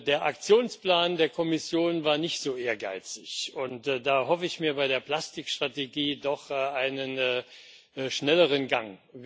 Der Aktionsplan der Kommission war nicht so ehrgeizig, und da erhoffe ich mir bei der Plastik Strategie doch einen schnelleren Gang.